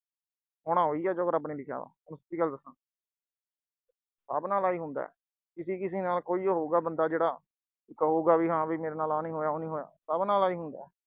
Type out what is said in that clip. ਹੋਣਾ ਉਹੀ ਆ ਜੋ ਰੱਬ ਨੇ ਲਿਖਿਆ, ਸਿੱਧੀ ਗੱਲ ਦੱਸਾ। ਸਭ ਨਾਲ ਆਈ ਹੁੰਦਾ। ਕਿਸੀ-ਕਿਸੀ ਨਾਲ ਕੋਈ ਹੋਊ ਬੰਦਾ ਜਿਹੜਾ ਕਹੂਗਾ, ਮੇਰੇ ਨਾਲ ਆਹ ਨਹੀਂ ਹੋਇਆ, ਉਹ ਨਹੀਂ ਹੋਇਆ, ਸਭ ਨਾਲ ਆਈ ਹੁੰਦਾ।